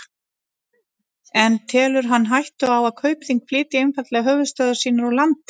En telur hann hættu á að Kaupþing flytji einfaldlega höfuðstöðvar sínar úr landi?